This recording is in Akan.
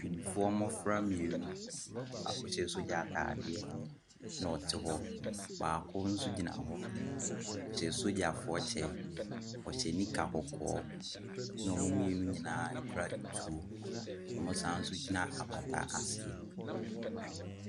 Bibifoɔ mmɔfra mmienu, baako hyɛ sogya ataadeɛ no te hɔ. Baako so gyina hɔ, ɔhyɛ sogyafoɔ kyɛ, ɔhyɛ nika kɔkɔɔ ɛna ɔmmu mmienu nyinaa kuta ɛtuo. Ɔmmu san gyina apata asi.